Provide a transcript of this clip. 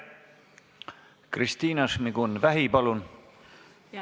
Kristina Šmigun-Vähi, palun!